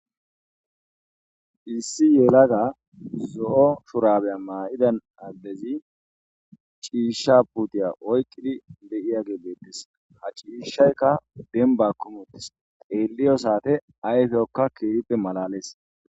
issi yelaga zo7o shurabiya maa7ida addezi ciishsha putiya oyqqidi be7iyage beettes ha ciishshaykka denba kumuttes xeelliyo saate ayfeyokka keehippe malalees.